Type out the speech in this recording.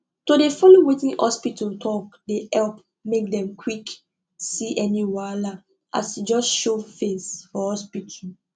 to dey follow wetin hospita talk dey epp make dem quck see any wahala as e just show face for hospita